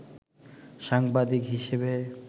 সাংবাদিক হিসেবে